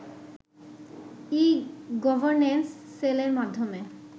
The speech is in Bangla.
ই-গর্ভনেন্স সেলএর মাধ্যমে